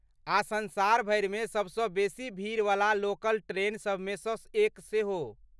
आ संसार भरिमे सबसँ बेसी भीड़वला लोकल ट्रेन सभमे सँ एक सेहो।